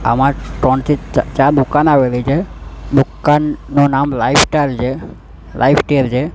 આમા ત્રણથી ચા ચાર દુકાન આવેલી છે દુકાનનું નામ લાઇફસ્ટાઇલ છે લાઇફકેર છે.